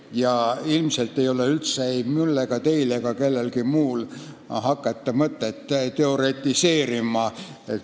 Ja ilmselt ei ole ei mul, teil ega kellelgi teisel mõtet hakata üldse teoretiseerima.